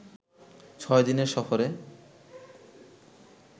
ছয় দিনের সফরে